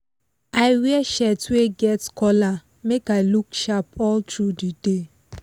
i wear shirt wey get collar make i look sharp all tru the day